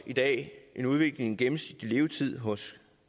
i dag en udvikling gennemsnitlige levetid hos